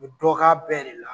U bɛ dɔ k'a bɛɛ de la.